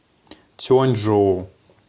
цюаньчжоу